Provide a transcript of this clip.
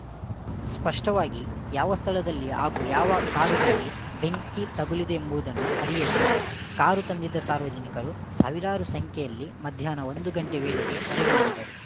ಸ್ಪಷ್ಟವಾಗಿ ಯಾವ ಸ್ಥಳದಲ್ಲಿ ಹಾಗೂ ಯಾವ ಕಾರುಗಳಿಗೆ ಬೆಂಕಿ ತಗುಲಿದೆ ಎಂಬುದನ್ನು ಅರಿಯದೆ ಕಾರು ತಂದಿದ್ದ ಸಾರ್ವಜನಿಕರು ಸಾವಿರಾರು ಸಂಖ್ಯೆಯಲ್ಲಿ ಮಧ್ಯಾಹ್ನ ಒಂದು ಗಂಟೆ ವೇಳೆಗೆ ಹೊರಗೆ ನಡೆದರು